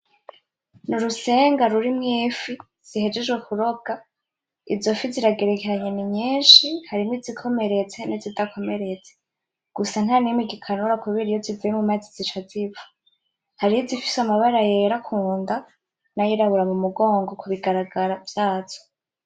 N'urusenga rurimwo Ifi zihejeje kurobwa ,izo fi ziragerekeranye ninyinshi, harimwo izikomeretse n'izidakomeretse, gusa nanimwe igikanura kubera iyo zivuye mumazi zica zipfa, har'izifise amabara yera kunda n'ayirabura mumugongo, kubigaragara vyazo.